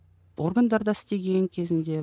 органдарда істеген кезінде